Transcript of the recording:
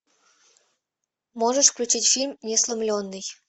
можешь включить фильм несломленный